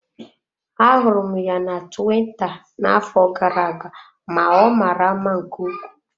Ahụrụ m ya na tuwita n'afọ gara aga ma ọ mara mma nke ukwuu.